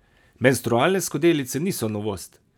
Menstrualne skodelice niso novost.